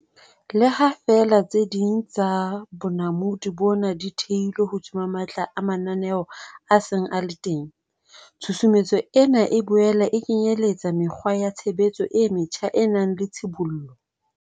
Le ha feela tse ding tsa bonamodi bona di thehilwe hodima matla a mananeo a seng a le teng, tshusumetso ena e boela e kenyeletsa mekgwa ya tshebetso e metjha e nang le tshibollo.